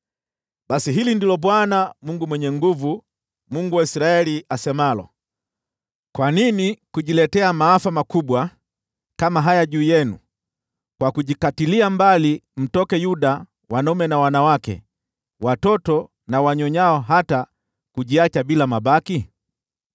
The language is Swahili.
“Basi hili ndilo Bwana Mungu Mwenye Nguvu Zote, Mungu wa Israeli, asemalo: Kwa nini kujiletea maafa makubwa kama haya juu yenu kwa kujikatilia mbali kutoka Yuda wanaume na wanawake, watoto na wanyonyao, hata kujiacha bila mabaki?